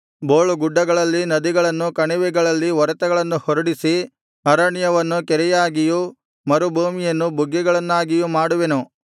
ಬೋಳುಗುಡ್ಡಗಳಲ್ಲಿ ನದಿಗಳನ್ನು ಕಣಿವೆಗಳಲ್ಲಿ ಒರತೆಗಳನ್ನು ಹೊರಡಿಸಿ ಅರಣ್ಯವನ್ನು ಕೆರೆಯಾಗಿಯೂ ಮರುಭೂಮಿಯನ್ನು ಬುಗ್ಗೆಗಳನ್ನಾಗಿಯೂ ಮಾಡುವೆನು